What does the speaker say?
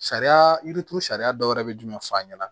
Sariya yirituru sariya dɔw yɛrɛ bɛ jumɛn f'a ɲɛna